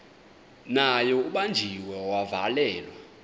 naye ubanjiwe wavalelwa